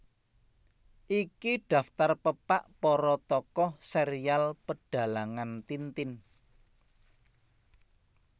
Iki daftar pepak para tokoh serial Pedhalangan Tintin